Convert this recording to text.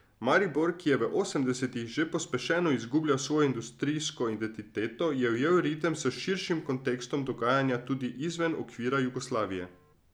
Maribor, ki je v osemdesetih že pospešeno izgubljal svojo industrijsko identiteto, je ujel ritem s širšim kontekstom dogajanja tudi izven okvira Jugoslavije.